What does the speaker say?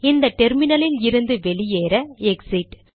இந்த டெர்மினலில் இருந்து வெளியேற எக்ஸிட்